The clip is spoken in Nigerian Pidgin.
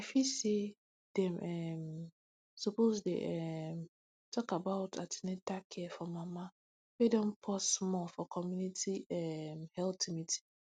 i feel say dem um suppose dey um talk about an ten atal care for mama wey don pause more for community um health meeting